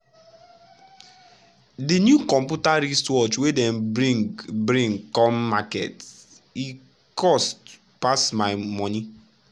de new computer wristwatch wey dem bring bring come market e cost pass my monie.